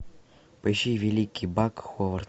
поищи великий бак ховард